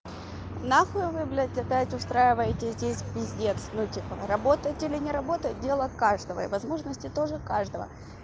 на хуй вы блядь опять устраиваете здесь пиздец ну типа работать или не работать дело каждого и возможности тоже каждого